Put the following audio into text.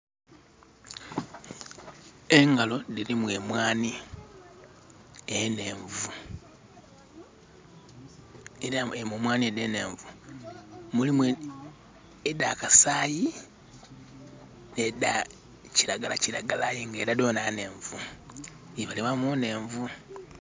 Engalo dhilimu emwanhi enhenvu. Era mu mwanhi edho enhenvu mulimu edha kasaayi, nh'edha kiragala kiragala aye ng'era dhona nhenvu. Dhibalibwa mu nhenvu.